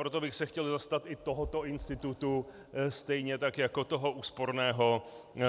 Proto bych se chtěl zastat i tohoto institutu, stejně tak jako toho úsporného